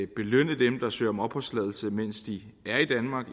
belønne dem der søger om opholdstilladelse mens de er i danmark